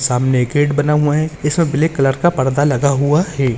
सामने एक गेट बना हुआ है इसमे ब्लैक कलर का पर्दा लगा हुआ है।